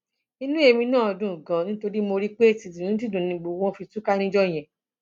inú èmi náà dùn ganan nítorí mo rí i pé tìdùnnútìdùnnú ni gbogbo wọn fi túká níjọ yẹn